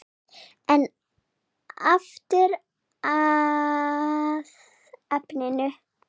En aftur að efninu.